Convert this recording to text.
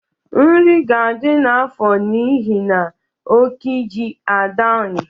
Nri ga-adị n’afọ n’ihi na oke iji agbaghị.